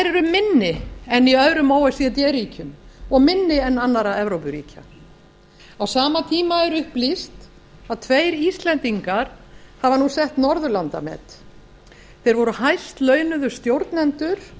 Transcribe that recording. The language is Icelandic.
eru minni en í öðrum o e c d ríkjum og minni en annarra evrópuríkja á sama tíma er upplýst að tveir íslendingar hafa nú sett norðurlandamet þeir voru hæstlaunuðu stjórnendur